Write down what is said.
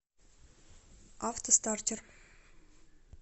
автостартер